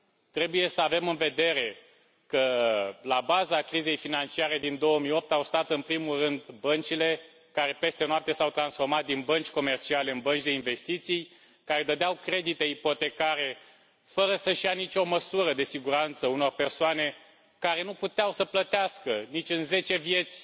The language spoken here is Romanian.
Trebuie să avem în vedere că la baza crizei financiare din 2008 au stat în primul rând băncile care, peste noapte, s au transformat din bănci comerciale în bănci de investiții care dădeau credite ipotecare, fără să și ia nicio măsură de siguranță, unor persoane care nu puteau să plătească nici în zece vieți